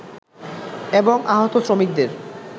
এবং আহত শ্রমিকদের